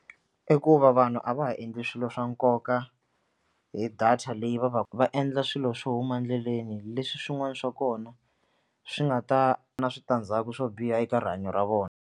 I ku va vanhu a va ha endli swilo swa nkoka hi data leyi va va va endla swilo swo huma endleleni leswi swin'wana swa kona swi nga ta na switandzhaku swo biha eka rihanyo ra vona.